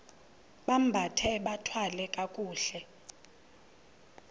bambathe bathwale kakuhle